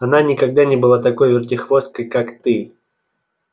она никогда не была такой вертихвосткой как ты